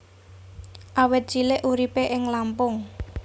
Awit cilik uripé ing Lampung